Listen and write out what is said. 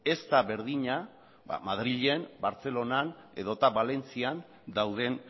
ez da berdina ba madrilen bartzelonan edota valentzian dauden